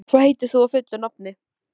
Rómeó, hvað heitir þú fullu nafni?